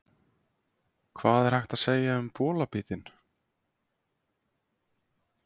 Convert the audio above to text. Hvað er hægt að segja um bolabítinn?